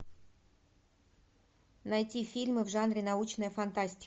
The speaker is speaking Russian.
найти фильмы в жанре научная фантастика